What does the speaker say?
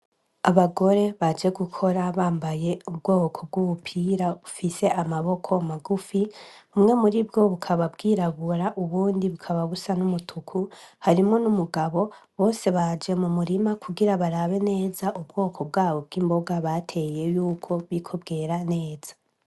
Abagore baje gukora bambaye ubwoko bw'ubupira ufise amaboko magufi kumwe muri bwo bukababwirabura ubundi bukababusa n'umutuku harimwo n'umugabo bose baje mu murima kugira barabe neza ubwoko bwabo bw'imboga bateye yuko biko bwera neza.